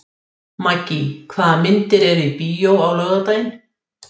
Maggý, hvaða myndir eru í bíó á laugardaginn?